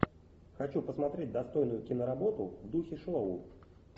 хочу посмотреть достойную киноработу в духе шоу